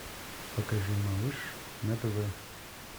покажи малыш на тв